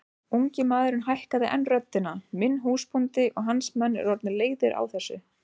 Ungi maðurinn hækkaði enn röddina:-Minn húsbóndi og hans menn eru orðnir leiðir á þessu!